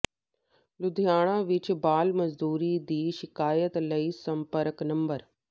ਲੁਧਿਆਣਾ ਵਿੱਚ ਬਾਲ ਮਜ਼ਦੂਰੀ ਦੀ ਸ਼ਿਕਾਇਤ ਲਈ ਸੰਪਰਕ ਨੰਬਰ